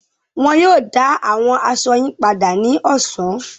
Wọn yóò dá àwọn aṣọ yín padà ní ọ̀sán.